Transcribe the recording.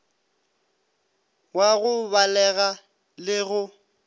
wa go balega le go